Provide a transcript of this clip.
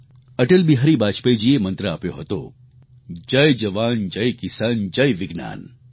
અટલ બિહારી વાજપેયીજીએ મંત્ર આપ્યો હતો જયજવાન જયકિસાન જયવિજ્ઞાન